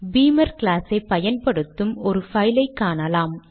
பீமர் glass ஐ பயன்படுத்தும் ஒரு பைலை காணலாம்